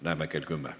Näeme kell 10.